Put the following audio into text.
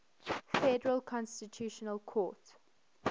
federal constitutional court